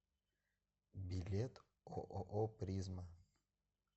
билет ооо призма